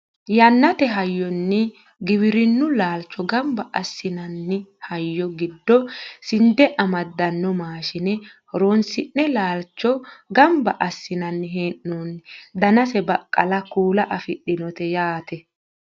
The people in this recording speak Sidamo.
yannate hayyonni giwirinnu laalcho ganba assinanni hayyo giddo sinde middanno maashine horonsi'ne laalcho ganba assinanni hee'noonni danase baqqala kuula afidhinote yaate